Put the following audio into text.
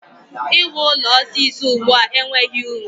I wu ụlọ osisi ugbua enweghị uru.